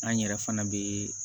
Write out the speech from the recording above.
An yɛrɛ fana bɛ